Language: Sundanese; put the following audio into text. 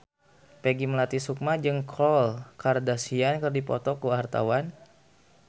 Peggy Melati Sukma jeung Khloe Kardashian keur dipoto ku wartawan